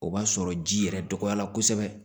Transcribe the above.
O b'a sɔrɔ ji yɛrɛ dɔgɔyara kosɛbɛ